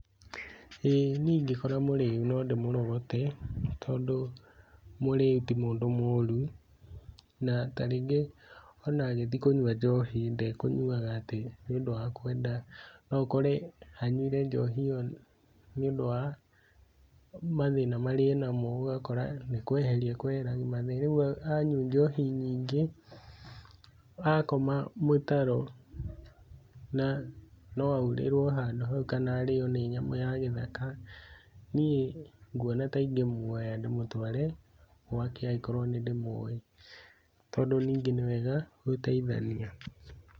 ĩĩ niĩ ingĩkora mũrĩu no ndĩmũrogote, tondũ mũrĩu ti mũndũ mũũru, na ta rĩngĩ ona agĩthiĩ kũnyua njohi ndekũnyuaga nĩ ũndũ wa kwenda. No ũkore anyuire njohi ĩyo nĩ ũndũ wa mathĩna marĩa enamo, ũgakora nĩ kweheria ekweheragia mathĩna. Rĩu anyua njohi nyingĩ akoma mũtaro no aurĩrwo handũ hau kana arĩo nĩ nyamũ ya gĩthaka. Niĩ nguona ta ingĩmuoya ndĩmũtware gwake andĩkorwo nĩ ndĩmũwĩ tondũ nĩ wega gũteithania.